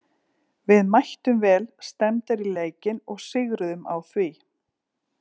Við mættum vel stemmdar í leikinn og sigruðum á því.